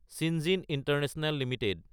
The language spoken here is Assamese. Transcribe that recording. চিঞ্জেনে ইণ্টাৰনেশ্যনেল এলটিডি